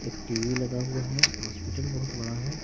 एक टी_वी लगा हुआ है हॉस्पिटल बहुत बड़ा है।